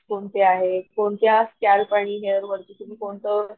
कोणते आहे कोणत्या स्क्याल्प आणि हेअर वरती तुम्ही कोनत,